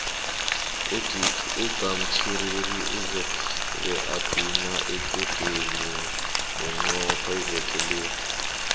ugamtjhiriri uzobe abhina equdeni bunqopha iveke le